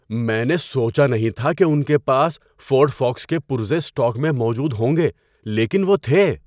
میں نے سوچا نہیں تھا کہ ان کے پاس فورڈ فوکَس کے پرزے اسٹاک میں موجود ہوں گے لیکن وہ تھے۔